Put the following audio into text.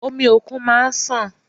Omi òkun máa ń sàn.